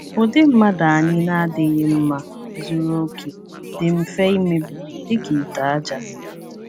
Ụdị mmadụ anyị na - adịghị mma zuru oke dị mfe imebi, dị ka ite aja.